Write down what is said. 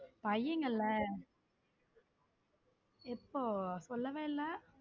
பையங்கள எப்போ சொல்லவே இல்ல.